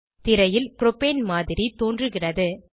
திரையில் ப்ரோபேனின் மாதிரி தோன்றுகிறது